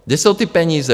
Kde jsou ty peníze?